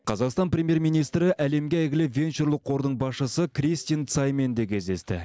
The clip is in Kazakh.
қазақстан премьер министрі әлемге әйгілі венчурлық қордың басшысы кристин цаймен де кездесті